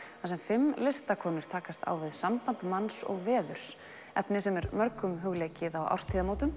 þar sem fimm listakonur takast á við samband manns og veðurs efni sem er mörgum hugleikið á